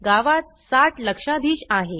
गावात 60 लक्षाधीश आहे